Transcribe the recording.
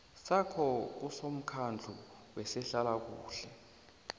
sakho kusomkhandlu wezehlalakuhle